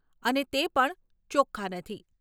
અને તે પણ ચોખ્ખા નથી.